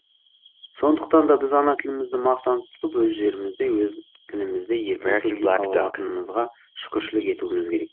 сондықтанда біз ана тілімізді мақтан тұтып өз жерімізде өз тілімізде еркін сөйлей ала алатынымызға шүкіршілік етуіміз керек